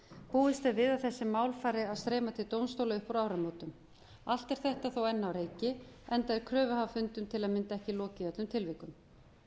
búist er við að þessi mál fari að streyma til dómstóla upp úr áramótum allt er þetta þó enn á reiki enda er kröfuhafafundum til að mynda ekki lokið í öllum tilvikum